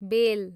बेल